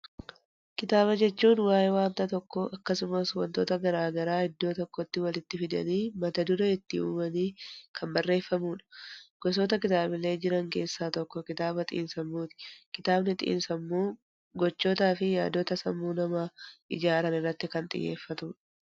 Kitaaba jechuun waa'ee waanta tokko akkasumas wantoota garaagara iddoo tokkotti walitti fidanii mata duree itti uumanii kan bareeffamudha. Gosoota kitaabilee jiran keessa tokko kitaaba xiinsammuuti. Kitaabni xiinsammuu gochoota fi yaadota sammuu namaa ijaaran irratti kan xiyyeeffatudha.